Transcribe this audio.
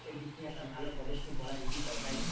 দিক থেকে একটা ভালো পদক্ষেপ বলা যেতেই পারে তাই কি না?